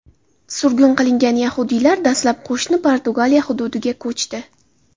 Surgun qilingan yahudiylar dastlab qo‘shni Portugaliya hududiga ko‘chdi.